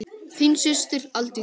Þín systir, Aldís.